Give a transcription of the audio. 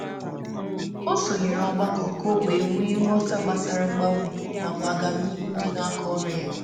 Ọ sonyere otu nkuzi iji iji nweta nghọta gbasara mgbanwe na mmepe n’ọrụ.